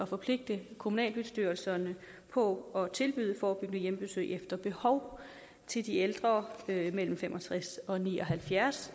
forpligte kommunalbestyrelserne på at tilbyde forebyggende hjemmebesøg efter behov til de ældre mellem fem og tres og ni og halvfjerds